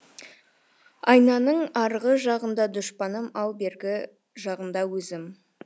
айнаның арғы жағында дұшпаным ал бергі жағында өзім